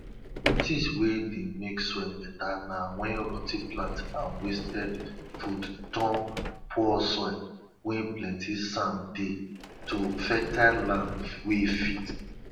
things wey dey make soil better na wen rot ten plants and wasted food turn poor soil wey plenty sand dey to fertile land wey fit